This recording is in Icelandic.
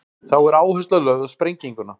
þá er áhersla lögð á sprenginguna